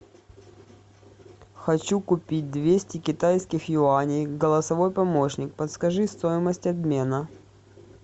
хочу купить двести китайских юаней голосовой помощник подскажи стоимость обмена